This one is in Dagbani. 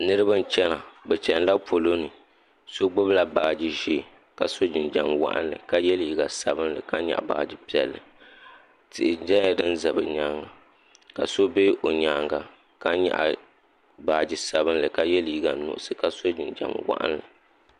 niriba bɛ n-chana bɛ chani la polo ni so gbubi la baaji ʒee ka sɔ jinjam wɔɣinli ka ye liiga sabinli ka nyaɣi baaji piɛlli tihi nyɛla din za bɛ nyaaga ka so be o nyaaga ka nyaɣi baaji sabinli ka ye liiga nuɣisi ka sɔ jinjam wɔɣinli.